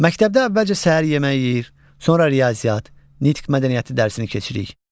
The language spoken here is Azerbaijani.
Məktəbdə əvvəlcə səhər yeməyi yeyir, sonra riyaziyyat, nitq mədəniyyəti dərsi keçirik.